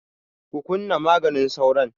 Ku kunna maganin sauron!